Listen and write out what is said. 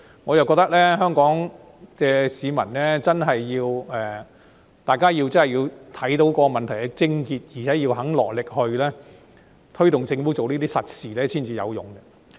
我覺得香港市民要真正看到問題癥結，並且肯落力推動政府做這些實事才會有用。